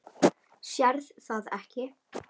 Sérð það ekki.